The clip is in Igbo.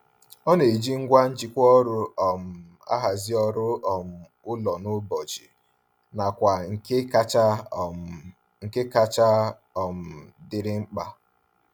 Ọ na-eji ngwa njikwa ọrụ um ahazi ọrụ um ụlọ n'ụbọchị nakwa nke kacha um nke kacha um dịrị mkpa.